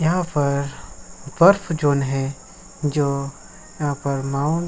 यहां पर बर्फ जोन है जो यहां पर माउंट --